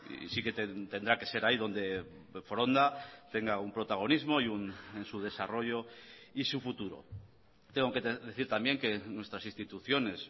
y sí que tendrá que ser ahí donde foronda tenga un protagonismo en su desarrollo y su futuro tengo que decir también que nuestras instituciones